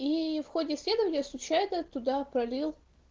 ии в ходе исследования случайно туда пролил